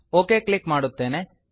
okay click ಮಾಡುತ್ತೇನೆ